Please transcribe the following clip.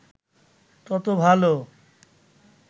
তত ভালো